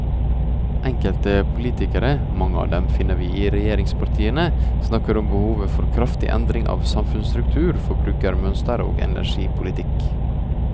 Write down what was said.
Enkelte politikere, mange av dem finner vi i regjeringspartiene, snakker om behovet for kraftige endringer i samfunnsstruktur, forbruksmønster og energipolitikk.